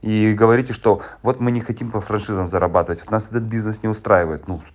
и говорите что вот мы не хотим по франшизам зарабатывать и нас этот бизнес не устраивает ну